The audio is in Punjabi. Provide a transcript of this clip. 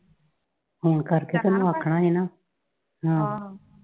phone ਕਰਕੇ ਤੇ ਉਹਨੂੰ ਆਖਣਾ ਸੀ ਨਾ, ਆਹੋ।